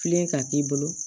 Filen ka k'i bolo